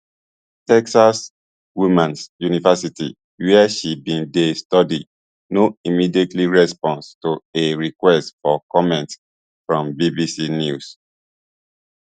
texas womans university wia she bin dey study no immediately respond to a request for comment from bbc news